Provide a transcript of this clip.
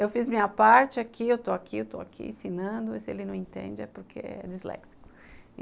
Eu fiz minha parte aqui, eu estou aqui, eu estou aqui ensinando, e se ele não entende é porque é disléxico.